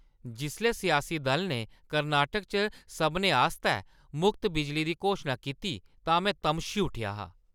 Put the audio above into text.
जिसलै सियासी दलै ने कर्नाटक च सभनें आस्तै मुख्त बिजली दी घोशना कीती तां में तमशी उट्ठेआ हा।